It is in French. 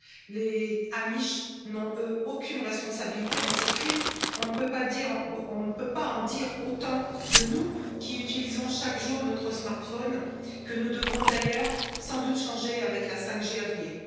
Les Amish n'ont, eux, aucune responsabilité dans ces crimes. On ne peut pas en dire autant de nous, qui utilisons chaque jour notre smartphone, que nous devrons d'ailleurs sans doute changer avec la 5G à venir.